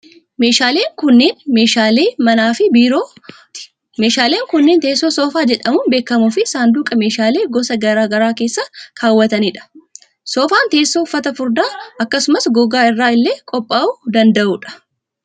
Meeshaaleen kunneen, meeshaalee manaa fi biirooti. Meeshaaleen kunneen, teesoo soofaa jedhamuun beekamuu fi saanduqa meeshaalee gosa garaa garaa keessa kaawwatanii dha. Soofaan teessoo uffata furdaa akkasumas gogaa irraa illee qophaa'uu danda'uu dha.